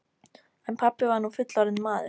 En pabbi var nú fullorðinn maður.